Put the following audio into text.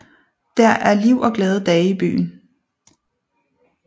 Der er liv og glade dage i byen